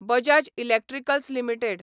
Bajaj electricals limited